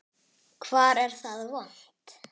Hvar er það vont?